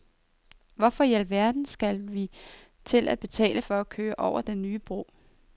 Hvorfor i al verden skal vi til at betale for at køre over den nye bro?